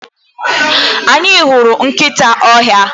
Anyị hụrụ nkịta ọhịa.